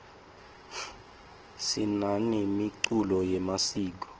sinanemiculo yemasiko